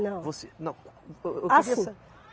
Não. Você, não, eu queria sa. Assim.